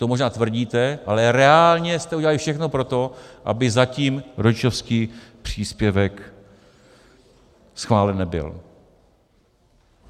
To možná tvrdíte, ale reálně jste udělali všechno pro to, aby zatím rodičovský příspěvek schválen nebyl.